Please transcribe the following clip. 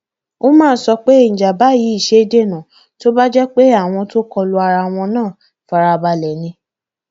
umar sọ pé ìjàmbá yìí ṣeé dènà tó bá jẹ pé àwọn tó kọ lu ara wọn náà farabalẹ ni